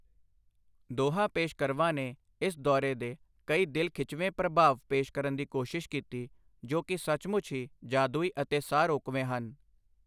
ਦੋਹਾਂ ਪੇਸ਼ਕਰਵਾਂ ਨੇ ਇਸ ਦੌਰੇ ਦੇ ਕਈ ਦਿਲ ਖਿਚਵੇਂ ਪ੍ਰਭਾਵ ਪੇਸ਼ ਕਰਨ ਦੀ ਕੋਸ਼ਿਸ਼ ਕੀਤੀ, ਜੋ ਕੀ ਸਚਮੁੱਚ ਹੀ ਜਾਦੂਈ ਅਤੇ ਸਾਹ ਰੋਕਵੇਂ ਹਨ।